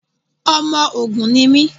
Ọmọ Ògun ni mí.